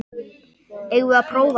Eigum við að prófa þetta?